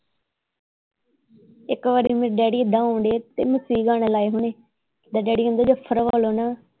ਇੱਕ ਵਾਰੀ ਮੇਰੇ ਡੈਡੀ ਏਦਾਂ ਆਉਣ ਦੇ ਤੇ ਗਾਣੇ ਲਾਏ ਹੋਣੇ ਡੈਡੀ ਕਹਿੰਦੇ